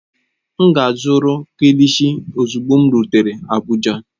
M ga-azụrụ kilishi ozugbo m rutere Abuja